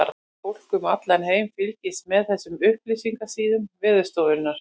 Fólk um allan heim fylgist með þessum upplýsingasíðum Veðurstofunnar.